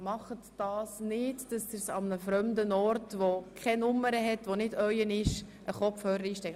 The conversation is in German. Stecken Sie deshalb bitte keine Kopfhörer an nicht zugewiesenen Plätzen ein.